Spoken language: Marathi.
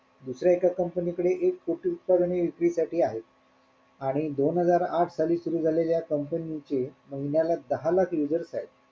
दुसऱ्या एका comapny कडे एक कोटी उत्पादने विक्री साठी आहेत आणि दोन हजार आठ साली सुरु झालेल्या या company चे महिन्याला दहा लाख users येत.